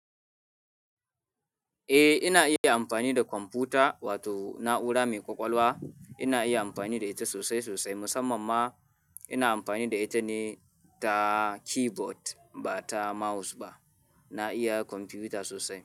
Eh ina iya amfani da kwamfuta wato na'ura mai ƙwaƙwalwa. Ina iya amfani da ita sosai sosai. Musamman ma ina amfani da ita ne ta keyboard ba ta mouse ba. Na iya kwamfiyuta sosai.